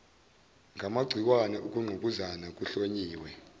ngamagciwane ukungqubuzana kuhlonyiwe